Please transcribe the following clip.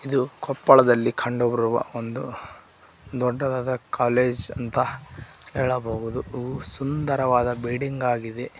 ಇದು ಕೊಪ್ಪಳದಲ್ಲಿ ಕಂಡುಬರುವ ಒಂದು ದೊಡ್ಡದಾದ ಕಾಲೇಜ್ ಅಂತ ಹೇಳಬಹುದು ಇದು ಸುಂದರವಾದ ಬಿಲ್ಡಿಂಗ್ ಆಗಿದೆ.